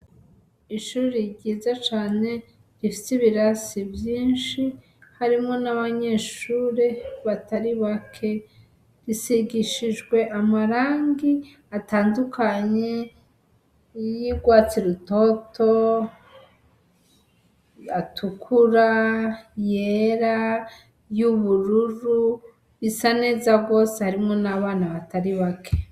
Ishure ryiza cane rifise ibirasi vyinshi, harimwo n'abanyeshure batari bake, risigishijwe amarangi atandukanye y'urwatsi rutoto, atukura, yera y'ubururu, risa neza gose harimwo n'abana batari bake.